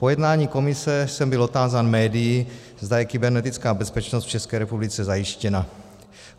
Po jednání komise jsem byl otázán médii, zda je kybernetická bezpečnost v České republice zajištěna.